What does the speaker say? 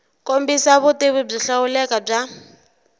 kombisa vutivi byo hlawuleka bya